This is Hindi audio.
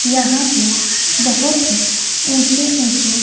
यहां पे बहोत ही ऊंचे ऊंचे--